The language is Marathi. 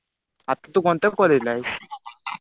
मी आता तू कोणत्या कॉलेजला आहेस?